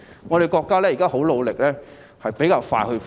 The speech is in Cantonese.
我們的國家現時很努力，相信會比較快恢復。